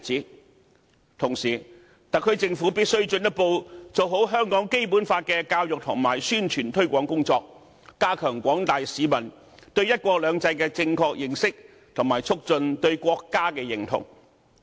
與此同時，特區政府必須進一步做好香港《基本法》的教育和宣傳推廣工作，加強廣大市民對"一國兩制"的正確認識，以及促進對國家的認同。